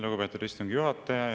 Lugupeetud istungi juhataja!